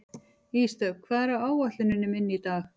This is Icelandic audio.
Ísdögg, hvað er á áætluninni minni í dag?